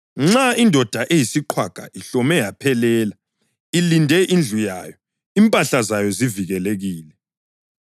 Nxa indoda eyisiqhwaga ihlome yaphelela, ilinde indlu yayo, impahla zayo zivikelekile.